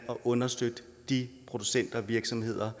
at understøtte de producenter og virksomheder